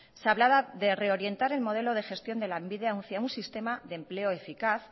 se hablaba de reorientar el modelo de gestión de lanbide hacia un sistema de empleo eficaz